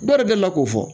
Bari delila k'o fɔ